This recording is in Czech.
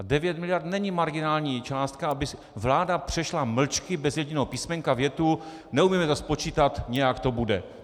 A 9 miliard není marginální částka, aby vláda přešla mlčky bez jediného písmenka větu: neumíme to spočítat, nějak to bude.